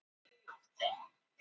Breiðabliki